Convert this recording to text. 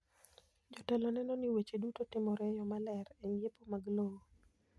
Jotelo neno ni weche duto timore e yo maler e ng’iepo mag lowo.